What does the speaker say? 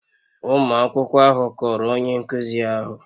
Ụmụ akwụkwọ ahụ kọọrọ onye nkụzi ahụ